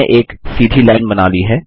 आपने एक सीधी लाइन बना ली है